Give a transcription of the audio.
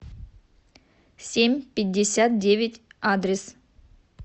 семь пятьдесят девять адрес